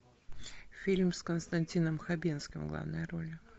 фильм с константином хабенским в главной роли